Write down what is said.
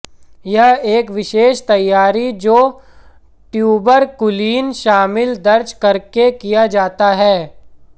यह एक विशेष तैयारी जो ट्यूबरकुलीन शामिल दर्ज करके किया जाता है